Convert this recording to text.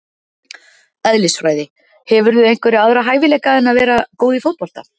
Eðlisfræði Hefurðu einhverja aðra hæfileika en að vera góð í fótbolta?